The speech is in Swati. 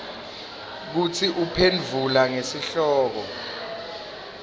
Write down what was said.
kutsi uphendvula ngesihloko